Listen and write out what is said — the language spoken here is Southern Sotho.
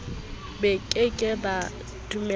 ba ke ke ba dumelahore